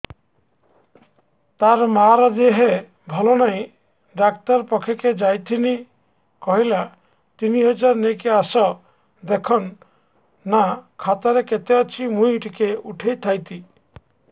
ତାର ମାର ଦେହେ ଭଲ ନାଇଁ ଡାକ୍ତର ପଖକେ ଯାଈଥିନି କହିଲା ତିନ ହଜାର ନେଇକି ଆସ ଦେଖୁନ ନା ଖାତାରେ କେତେ ଅଛି ମୁଇଁ ଟିକେ ଉଠେଇ ଥାଇତି